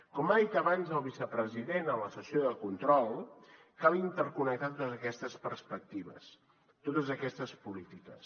com ha dit abans el vicepresident en la sessió de control cal interconnectar totes aquestes perspectives totes aquestes polítiques